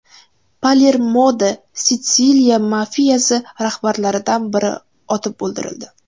Palermoda Sitsiliya mafiyasi rahbarlaridan biri otib o‘ldirildi.